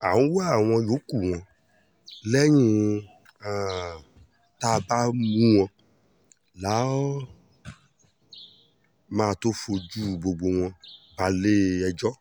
à ń wá àwọn yòókù wọn lẹ́yìn um tá a bá mú wọn la um máa tóó fojú gbogbo wọn balẹ̀-ẹjọ́